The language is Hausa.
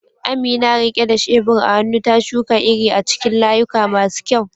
Amina, rike da shebur a hannu, ta shuka iri a cikin layuka masu kyau.